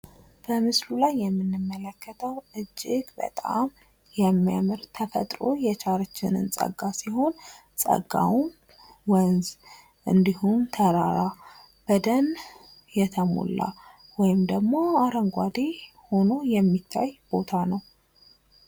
በምስሉ ላይ የምንመለከተው እጅግ በጣም የሚያምር ተፈጥሮ የቸረችልን ጸጋ ሲሆን ጸጋውም ወንዝ እንድሁም ተራራ በደን የተሞላ ወይም ደግሞ አረንጓዴ ሁኖ የሚታይ ቦታ ነው።